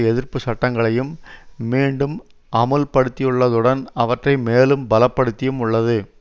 எதிர்ப்பு சட்டங்களையும் மீண்டும் அமுல்படுத்தியுள்ளதுடன் அவற்றை மேலும் பலப்படுத்தியும் உள்ளது